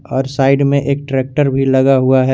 और साइड में एक ट्रैक्टर भी लगा हुआ है।